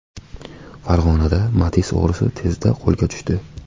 Farg‘onada Matiz o‘g‘risi tezda qo‘lga tushdi.